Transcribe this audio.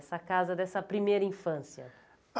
Essa casa dessa primeira infância?